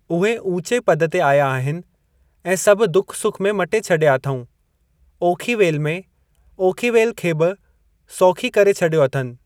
उहे ऊचे पद ते आया आहिनि ऐं सभु दुख सुख में मटे छॾियां अथऊं। ओखी वेल में, ओखी वेल खे बि सौखी करे छॾियो अथनि।